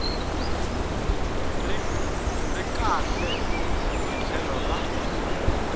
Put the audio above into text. ri kahle hi tlhelo ra